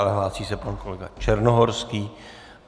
Ale hlásí se pan kolega Černohorský.